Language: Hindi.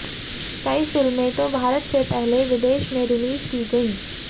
कई फिल्में तो भारत से पहले विदेश में रिलीज की गईं